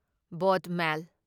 boat ꯃꯦꯜ